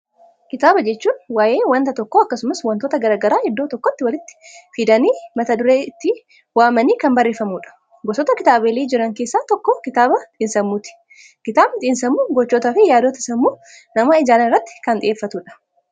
Kitaaba jechuun waa'ee waanta tokko akkasumas wantoota garaagara iddoo tokkotti walitti fidanii mata duree itti uumanii kan bareeffamudha. Gosoota kitaabilee jiran keessa tokko kitaaba xiinsammuuti, kitaabni xiinsammuu gochoota fi yaadota sammuu namaa ijaaran irratti kan xiyyeeffatudha.